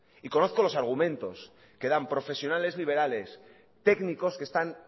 y conozco los argumentos que dan profesionales liberales técnicos que están